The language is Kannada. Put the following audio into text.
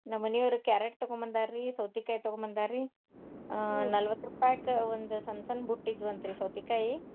ನಮ್ಮ್ ಮನಿಯವ್ರ್ carrot ತಗೊಂಡ್ ಬಂದಾರ್ರಿ, ಸೌತಿಕಾಯಿ ತಗೊಂಡ ಬಂದಾರ್ರಿ ನಲವತ್ತ್ ರೂಪಾಯಿಕ್ ಒಂದ್ ಸಣ್ಣ್ ಸಣ್ಣ್ ಬುಟ್ಟಿ ಇದ್ವಂತ್ರಿ ಸೌತಿಕಾಯಿ.